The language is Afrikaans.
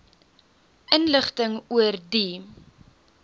inligting oor die